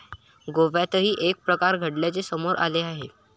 गोव्यातही हे प्रकार घडल्याचे समोर आले आहे.